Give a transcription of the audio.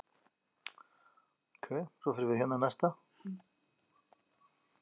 Ylfingur, hvað er jörðin stór?